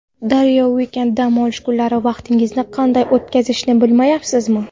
Daryo Weekend: Dam olish kunlari vaqtingizni qanday o‘tkazishni bilmayapsizmi?